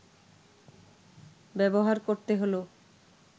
ব্যবহার করতে হলো